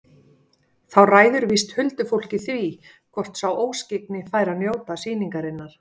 Þá ræður víst huldufólkið því hvort sá óskyggni fær að njóta sýnarinnar.